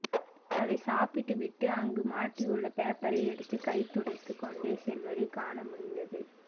அதை சாப்பிட்டு விட்டு அங்கு மாட்டியுள்ள பேப்பரை எடுத்து கை துடைத்து கொண்டே செல்வதை காண முடிந்தது